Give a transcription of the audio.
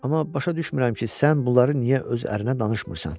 Amma başa düşmürəm ki, sən bunları niyə öz ərinə danışmırsan?